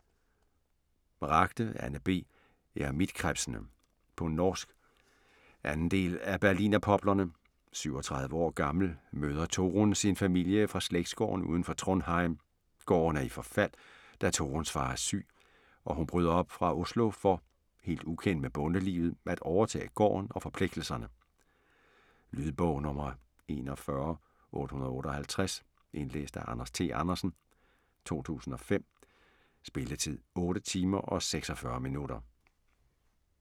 Ragde, Anne B.: Eremittkrepsene På norsk. 2. del af Berlinerpoplene. 37 år gammel møder Torunn sin familie fra slægtsgården uden for Trondheim. Gården er i forfald, da Torunns far er syg, og hun bryder op fra Oslo for - helt ukendt med bondelivet - at overtage gården og forpligtelserne. Lydbog 41858 Indlæst af Anders T. Andersen, 2005. Spilletid: 8 timer, 46 minutter.